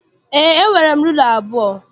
Eé, e nwere rula abụọ.